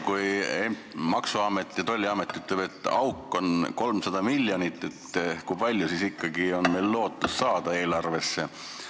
Kui Maksu- ja Tolliamet ütleb, et auk on 300 miljonit, kui palju siis ikkagi on veel lootust eelarvesse raha saada?